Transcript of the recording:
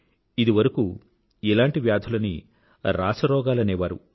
ఇదివరకూ ఇలాంటి వ్యాధులని రాచరోగాలనేవారు